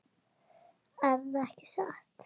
Erða ekki satt?